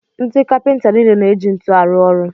Ndị kapinta niile na-eji ntuli arụ ọrụ.